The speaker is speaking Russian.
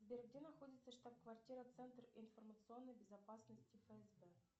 сбер где находится штаб квартира центр информационной безопасности фсб